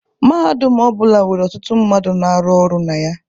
Mahadum ọ bụla nwere ọtụtụ mmadụ na-arụ ọrụ na ya.